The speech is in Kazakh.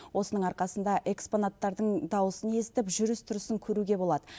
осының арқасында экспонаттардың дауысын естіп жүріс тұрысын көруге болады